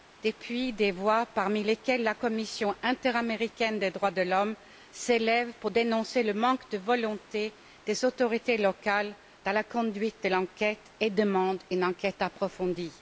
Depuis lors, des voix, parmi lesquelles la commission interaméricaine des droits de l'homme, s'élèvent pour dénoncer le manque de volonté des autorités locales dans la conduite de l'enquête et demandent une enquête approfondie.